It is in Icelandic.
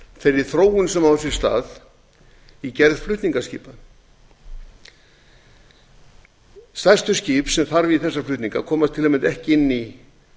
þeirri þróun sem á sér stað í gerð flutningaskipa stærstu skip sem þarf í þessa flutninga komast til að mynda ekki inn í